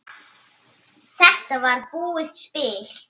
Þetta var búið spil.